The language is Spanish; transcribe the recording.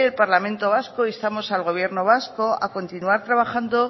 parlamento vasco instamos al gobierno vasco a continuar trabajando